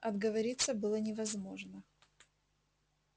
отговориться было невозможно